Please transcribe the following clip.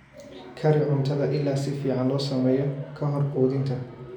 Kari cuntada ilaa si fiican loo sameeyo ka hor quudinta.